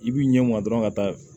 I b'i ɲɛ ma dɔrɔn ka taa